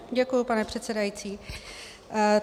Děkuji, pane předsedající.